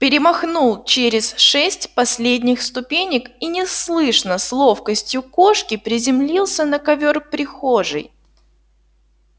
перемахнул через шесть последних ступенек и неслышно с ловкостью кошки приземлился на ковёр прихожей